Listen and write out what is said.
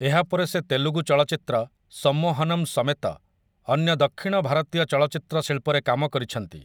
ଏହା ପରେ ସେ ତେଲୁଗୁ ଚଳଚ୍ଚିତ୍ର 'ସମ୍ମୋହନମ୍' ସମେତ ଅନ୍ୟ ଦକ୍ଷିଣ ଭାରତୀୟ ଚଳଚ୍ଚିତ୍ର ଶିଳ୍ପରେ କାମ କରିଛନ୍ତି ।